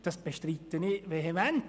Das bestreite ich vehement.